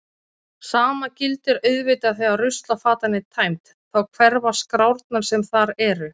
Sama gildir auðvitað þegar ruslafatan er tæmd, þá hverfa skrárnar sem þar eru.